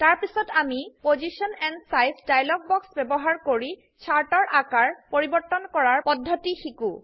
তাৰপিছত আমি position and size dialog box ব্যবহাৰ কৰি চাৰ্ট এৰ আকাৰ পৰিবৰ্তন কৰাৰ পদ্ধতি শিকো